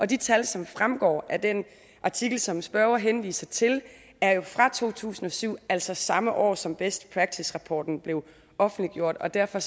de tal som fremgår af den artikel som spørgeren henviser til er jo fra to tusind og sytten altså samme år som best practice rapporten blev offentliggjort og derfor